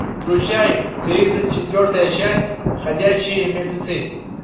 включай тридцать четвертая часть ходячие мертвецы